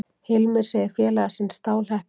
Hilmir segir félaga sinn stálheppinn